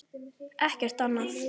Ekkert annað.